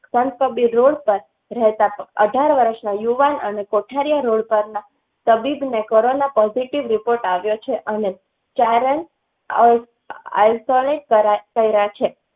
સંત કબીર road પર રહેતાં અઢાર વર્ષના યુવાન અને કોઠારિયા road પર ના તબીબ ને કોરોના પોઝિટિવ report આવ્યો છે. અને ચારણ. રહે છે